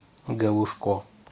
галушко